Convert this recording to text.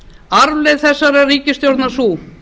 arfleifð þessarar ríkisstjórnar sú